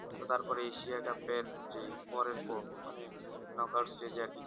তো তারপরে এশিয়া ফের যেই পরের পর্ব মানে knock out এর stage এ আর কি